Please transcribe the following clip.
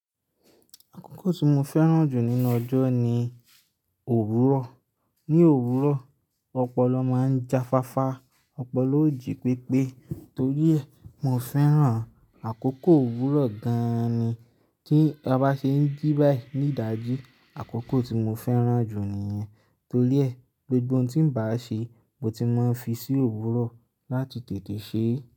Àkókò tí mo fẹ́ràn jù nínú ọjọ́ ni òwúrọ̀. Ni òwúrọ̀, ọpọlọ máa ń jáfáfá, ọpọlọ ò jí pépé. Torí ẹ, mo fẹ́ràn àkókò òwúrọ̀ gan-an ni. Tí a bá ṣe ń jí báyìí ní ìdájí, àkókò tí mo fẹ́ràn jù nìyẹn. Torí ẹ, gbogbo ohun tí n bá ṣe, mo ti máa ń fi sí òwúrọ̀ láti tètè ṣe é.